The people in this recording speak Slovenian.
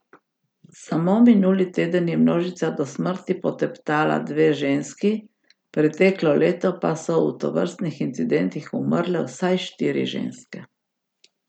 Samo minuli teden je množica do smrti poteptala dve ženski, preteklo leto pa so v tovrstnih incidentih umrle vsaj štiri ženske.